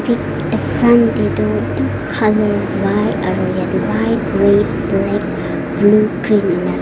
front te toh white red black blue green eneka--